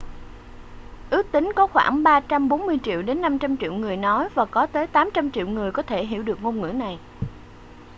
ước tính có khoảng 340 triệu đến 500 triệu người nói và có tới 800 triệu người có thể hiểu được ngôn ngữ này